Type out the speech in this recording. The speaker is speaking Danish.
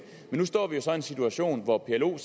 men nu står vi jo så i en situation hvor plo